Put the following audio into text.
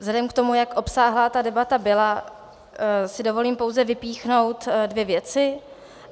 Vzhledem k tomu, jak obsáhlá ta debata byla, si dovolím pouze vypíchnout dvě věci.